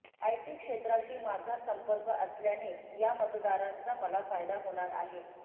IT क्षेत्राशी माझा संपर्क असल्याने या मतदारांचा मला फायदा होणार आहे